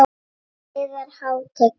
Yðar Hátign!